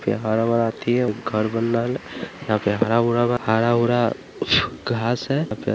हरा भरा अथि है घर बन रहल है यहाँ पे हरा भरा घास है।